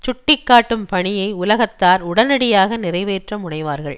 சுட்டிக்காட்டும் பணியை உலகத்தார் உடனடியாக நிறைவேற்ற முனைவார்கள்